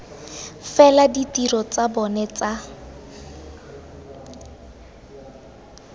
fela ditiro tsa bona tsa